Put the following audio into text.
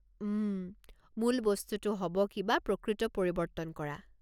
উম, মূল বস্তুটো হ'ব কিবা প্ৰকৃত পৰিৱৰ্তন কৰা।